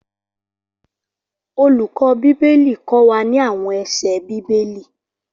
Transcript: Olùkọ́ Bíbélì kó wá ní àwọn ẹsẹ Bíbélì